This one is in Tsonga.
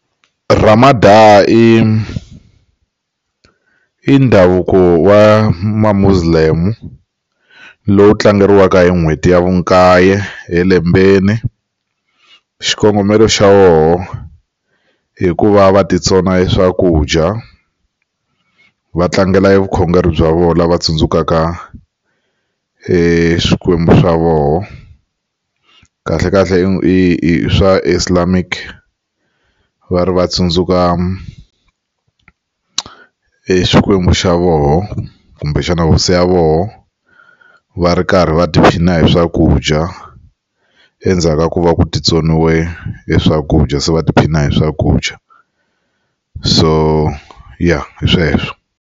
Ramadan i i ndhavuko wa ma Muslim lowu tlangeriwaka hi n'hweti ya vu kaye elembeni xikongomelo xa woho hikuva va ti tsona swakudya va tlangela vukhongeri bya vona va tsundzukaka e swikwembu swa voho kahlekahle i swa islamic va ri va tsundzuka i swikwembu xa voho kumbexana hosi ya voho va ri karhi va tiphina hi swakudya endzhaku ka ku va ku ti tsoniwe e swakudya se va tiphina hi swakudya so ya hi sweswo.